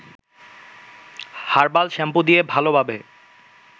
herbal shampoo দিয়ে ভালোভাবে